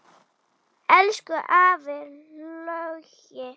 Elsku afi Laugi.